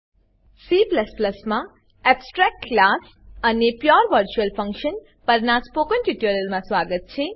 C માં abstract class abstract class અને pure virtual function pure virtual function પરનાં spoken ટ્યુટોરીયલમાં સ્વાગત છે